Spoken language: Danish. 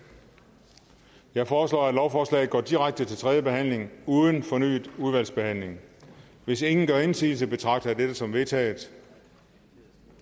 jeg foreslår at lovforslaget går direkte til tredje behandling uden fornyet udvalgsbehandling hvis ingen gør indsigelse betragter jeg dette som vedtaget